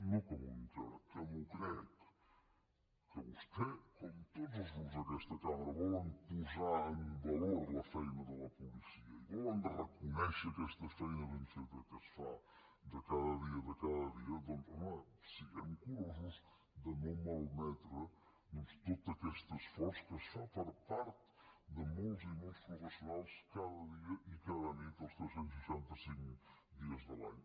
no que m’ho vull creure que m’ho crec que vostè com tots els grups d’aquesta cambra volen posar en valor la feina de la policia i volen reconèixer aquesta feina ben feta que es fa de cada dia de cada dia doncs home siguem curosos de no malmetre doncs tot aquest esforç que es fa per part de molts i molts professionals cada dia i cada nit els tres cents i seixanta cinc dies de l’any